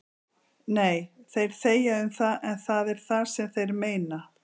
Nei, þeir þegja um það en það er það sem þeir meina